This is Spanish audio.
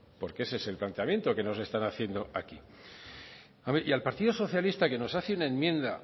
porque ese es el planteamiento que nos están haciendo aquí hombre y al partido socialista que nos hace una enmienda